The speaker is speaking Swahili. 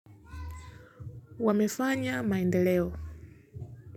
Wamefanya maendeleo.